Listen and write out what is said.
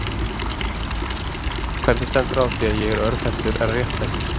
Hvernig stendur á því að ég er örvhentur en réttfættur?